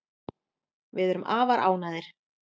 Við erum afar ánægðir